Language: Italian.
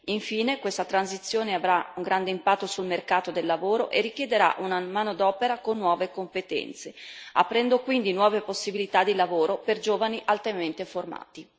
Infine, questa transizione avrà un grande impatto sul mercato del lavoro e richiederà una manodopera con nuove competenze, aprendo quindi nuove possibilità di lavoro per giovani altamente formati.